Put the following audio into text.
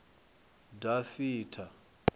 dafitha